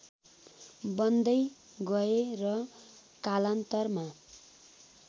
बन्दै गए र कालान्तरमा